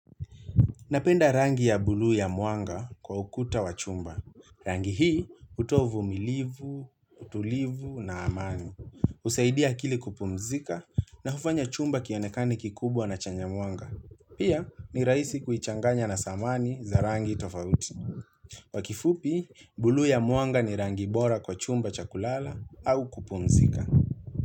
Napenda rangi ya bulu ya muanga kwa ukuta wa chumba. Rangi hii hutoa umumilivu, utulivu na amani. Husaidia akili kupumzika na hufanya chumba kionekane kikubwa na chenye muanga. Pia ni rahisi kuichanganya na samani za rangi tofauti. Kwa kifupi, bulu ya muanga ni rangi bora kwa chumba chakulala au kupumzika.